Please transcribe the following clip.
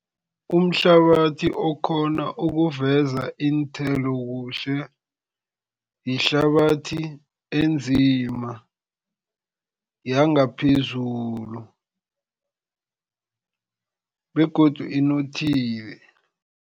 Umhlabathi okghona ukuveza iinthelo kuhle, yihlabathi enzima yangaphezulu begodu inothile.